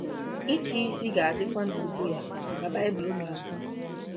“Ịchịisi ga-adịkwa n’ubu ya,” ka Bible na-ekwu.